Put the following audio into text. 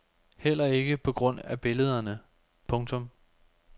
Heller ikke på grund af billederne. punktum